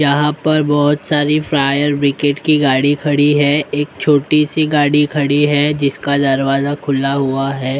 यहाँ पर बहुत सारी फ्रायर ब्रिकेट की गाड़ी खड़ी हैं एक छोटी सी गाड़ी खड़ी हैं जिसका दरवाजा खुला हुआ हैं ।